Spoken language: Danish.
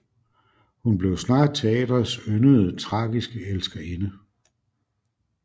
Hun blev snart teatrets yndede tragiske elskerinde